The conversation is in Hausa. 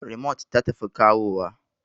Rimot ta tafi kawowa